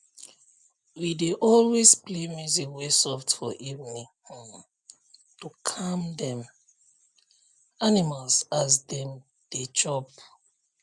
we dey always play music wey soft for evening um to calm dem animal as dem dey chop